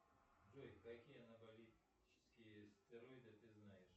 джой какие анаболические стероиды ты знаешь